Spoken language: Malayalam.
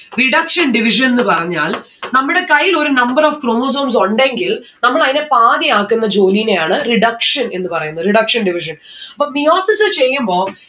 reduction division ന്ന്‌ പറഞ്ഞാൽ നമ്മൾടെ കയ്യിലൊരു number of chromosomes ഉണ്ടെങ്കിൽ നമ്മൾ അയിന പാതിയാക്കുന്ന ജോലിനെയാണ് reduction എന്ന് പറയുന്നത് reduction division അപ്പൊ meiosis ചെയ്യുമ്പോ